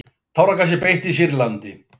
Táragasi beitt í Sýrlandi